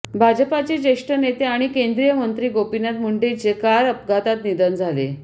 भाजपाचे ज्येष्ठ नेते आणि केंद्रीय मंत्री गोपीनाथ मुंडेंचे कार अपघातात निधन झाले